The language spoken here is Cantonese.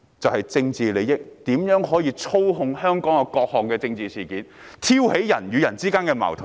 為了政治利益，他們操控香港各種政治事件，挑起人與人之間的矛盾。